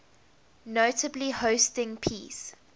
notably hosting peace